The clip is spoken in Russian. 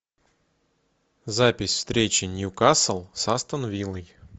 запись встречи ньюкасл с астон виллой